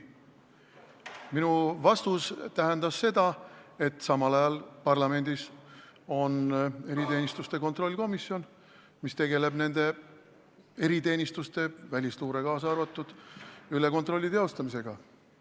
Minu vastus tähendas seda, et parlamendis on eriteenistuste kontrollkomisjon, mis tegeleb nende eriteenistuste, välisluure kaasa arvatud, üle kontrolli teostamisega.